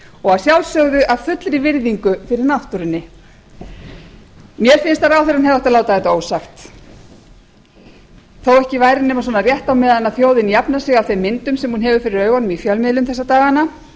og að sjálfsögðu af fullri virðingu fyrir náttúrunni mér finnst að ráðherrann hefði átt að láta þetta ósagt þó ekki væri nema svona rétt á meðan þjóðin jafnar sig á þeim myndum sem hún hefur fyrir augunum í fjölmiðlum þessa dagana